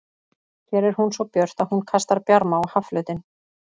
Hér er hún svo björt að hún kastar bjarma á hafflötinn.